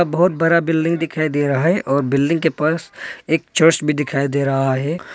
बहुत बड़ा बिल्डिंग दिखाई दे रहा है और बिल्डिंग के पास एक चर्च भी दिखाई दे रहा है।